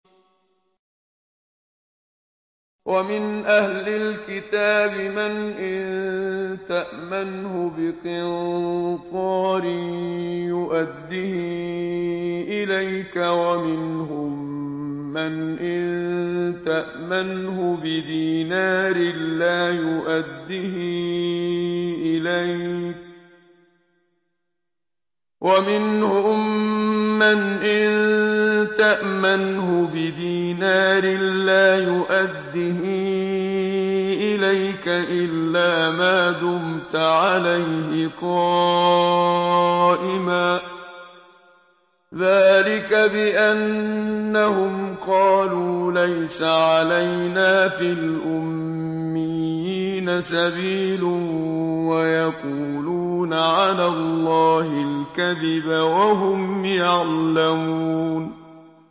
۞ وَمِنْ أَهْلِ الْكِتَابِ مَنْ إِن تَأْمَنْهُ بِقِنطَارٍ يُؤَدِّهِ إِلَيْكَ وَمِنْهُم مَّنْ إِن تَأْمَنْهُ بِدِينَارٍ لَّا يُؤَدِّهِ إِلَيْكَ إِلَّا مَا دُمْتَ عَلَيْهِ قَائِمًا ۗ ذَٰلِكَ بِأَنَّهُمْ قَالُوا لَيْسَ عَلَيْنَا فِي الْأُمِّيِّينَ سَبِيلٌ وَيَقُولُونَ عَلَى اللَّهِ الْكَذِبَ وَهُمْ يَعْلَمُونَ